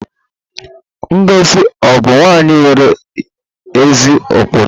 Ngozi ọ̀ bụ nwanyị nwere ezi ụkpụrụ?